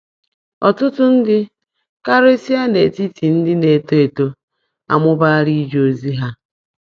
Ọtụtụ ndị, karịsịa n’etiti ndị na-eto eto, amụbaala ije ozi ha.